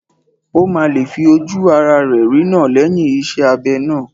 Ó máa lè fi ojú ará rẹ̀ rína lẹ́yìn iṣẹ́ abẹ náà